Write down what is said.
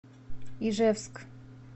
ижевск